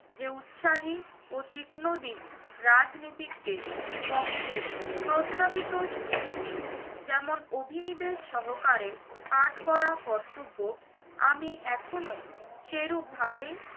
যে উৎসাহী ও তীক্ষ্ণ দিক রাজনীতিক গেট পক্ষে প্রস্তাবিত scheme টি যেমন অভিনিবেশ সহকারে পাঠ করা কর্তব্য আমি এখনো সেরূপভাবে